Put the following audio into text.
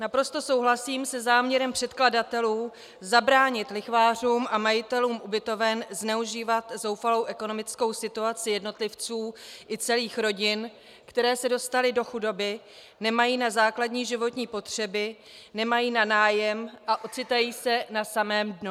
Naprosto souhlasím se záměrem předkladatelů zabránit lichvářům a majitelům ubytoven zneužívat zoufalou ekonomickou situaci jednotlivců i celých rodin, které se dostaly do chudoby, nemají na základní životní potřeby, nemají na nájem a ocitají se na samém dnu.